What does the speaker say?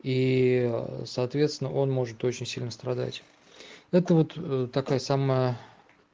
и соответственно он может очень сильно страдать это вот такая самая